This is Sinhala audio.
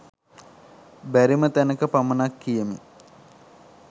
බැරිම තැනක පමණක් කියමි